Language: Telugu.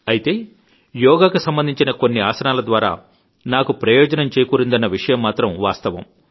అయితే యోగాకు సంబంధించి కొన్ని ఆసనాల ద్వారా నాకు ప్రయోజనం చేకూరిందన్న విషయం మాత్రం వాస్తవం